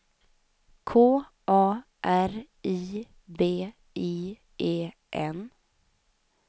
K A R I B I E N